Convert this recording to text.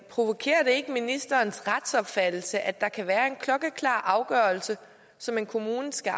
provokerer det ikke ministerens retsopfattelse at der kan være en klokkeklar afgørelse som en kommune skal